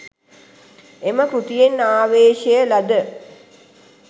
එම කෘතියෙන් ආවේශය ලද